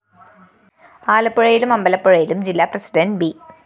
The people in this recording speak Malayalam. ആലപ്പുഴയിലും അമ്പലപ്പുഴയിലും ജില്ലാ പ്രസിഡന്റ് ബി